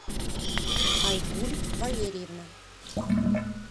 айгуль валерьевна